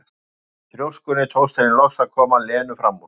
Og með þrjóskunni tókst henni loks að koma Lenu fram úr.